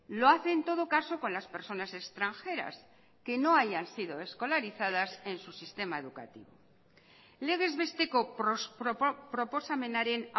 lo hace en todo caso con las personas extranjeras que no hayan sido escolarizadas en su sistema educativo legez besteko proposamenaren